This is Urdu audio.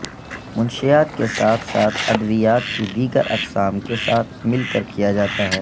منشیات کے ساتھ ساتھ ادویات کی دیگر اقسام کے ساتھ مل کر کیا جاتا ہے